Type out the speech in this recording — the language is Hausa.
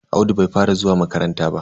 Audu bai fara zuwa makaranta ba.